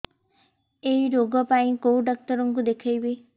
ଏଇ ରୋଗ ପାଇଁ କଉ ଡ଼ାକ୍ତର ଙ୍କୁ ଦେଖେଇବି